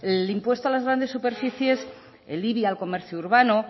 el impuesto a las grandes superficies el ibi al comercio urbano